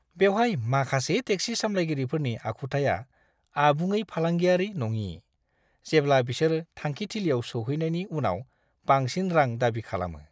बेवहाय माखासे टेक्सि सालायगिरिफोरनि आखुथाया आबुङै फालांगियारि नङि, जेब्ला बिसोर थांखिथिलियाव सौहैनायनि उनाव बांसिन रां दाबि खालामो।